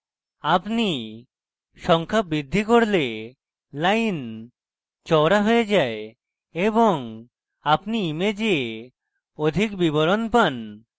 আপনি সংখ্যা বৃদ্ধি করলে lines চওড়া হয়ে যায় এবং আপনি image অধিক বিবরণ পান